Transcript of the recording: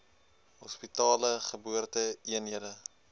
hospitale geboorte eenhede